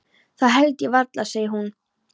Það held ég varla, segir hún.